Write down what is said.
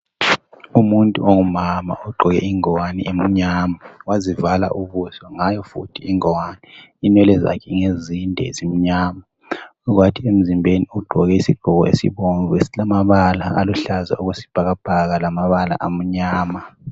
Umuntu ongumama ogqoke ingowani emnyama wazivala ubuso ngayo futhi ingowane , inwele zakhe ngezinde ezimnyama kwathi emzimbeni ugqoke isigqoko esibomvu esilamabala aluhlaza okwesibhakabhaka lamabala amnyama